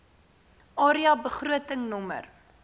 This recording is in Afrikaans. area begroting nr